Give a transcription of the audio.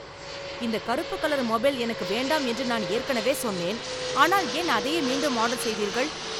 இந்த கருப்பு colour mobile எனக்கு வேண்டாம் என்று நான் ஏற்கனவே சொன்னேன் ஆனால் ஏன் அதையே மீண்டும் ஆர்டர் செய்தீர்கள்